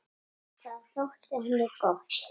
Það þótti henni gott.